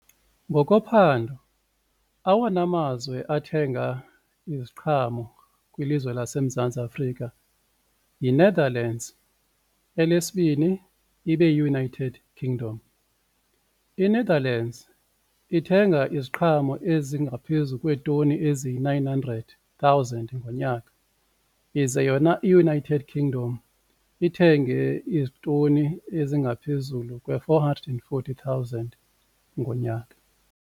Ngokophando awona mazwe athenga iziqhamo kwilizwe laseMzantsi Afrika yiNetherlands elesibini ibeyi-United Kingdom. INetherlands ithenga iziqhamo ezingaphezu kweetoni eziyi-nine hundred thousand ngonyaka, ize yona i-United Kingdom ithenge izitoni ezingaphezulu kwe-four hundred and forty thousand ngonyaka.